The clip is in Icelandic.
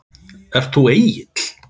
Ert þú Egill?